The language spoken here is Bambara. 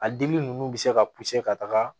A dili ninnu bɛ se ka ka taga